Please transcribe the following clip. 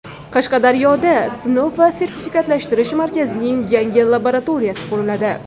Qashqadaryoda Sinov va sertifikatlashtirish markazining yangi laboratoriyasi quriladi.